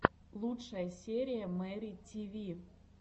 лучшая серия мэри тиви